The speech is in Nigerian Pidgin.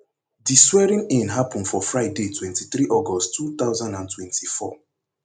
di swearingin happun for friday twenty-three august two thousand and twenty-four